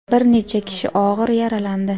bir necha kishi ogʼir yaralandi.